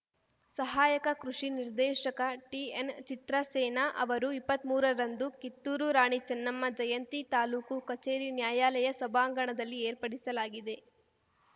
ಸಹಾಯಕ ಕೃಷಿ ನಿರ್ದೇಶಕ ಟಿಎನ್‌ಚಿತ್ರಸೇನ ಅವರು ಇಪ್ಪತ್ಮೂರರಂದು ಕಿತ್ತೂರು ರಾಣಿ ಚೆನ್ನಮ್ಮ ಜಯಂತಿ ತಾಲೂಕು ಕಚೇರಿ ನ್ಯಾಯಾಲಯ ಸಭಾಂಗಣದಲ್ಲಿ ಏರ್ಪಡಿಸಲಾಗಿದೆ